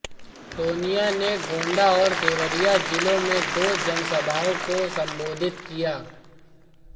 सोनिया ने गोंडा और देवरिया जिलों में दो जनसभाओं को संबोधित किया